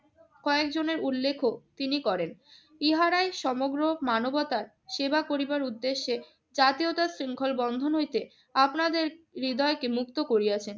কয়েকজনের উল্লেখও তিনি করেন। ইহারাই সমগ্র মানবতার সেবা করিবার উদ্দেশ্যে জাতীয়তা শৃংখল বন্ধন হইতে আপনাদের হৃদয়কে মুক্ত করিয়াছেন।